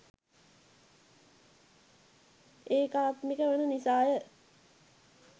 ඒකාත්මික වන නිසා ය.